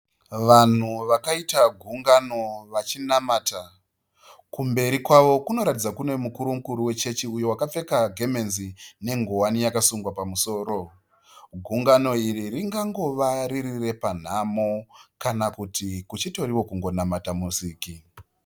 Vanhu vakaita gungano vachinamata, kumberi kwavo kunoratidza kune mukuru-mukuru wechechi uyo akapfeka gemenzi nengowani yakasungwa pamusoro. Gungano iri rinogona riri repanhamo kana kuti kuchitoriwo kunamata musiki.